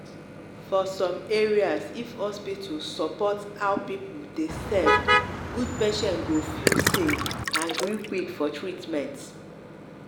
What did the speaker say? for some area if hospital support how people dey serve god patients go feel safe and gree quick for treatment.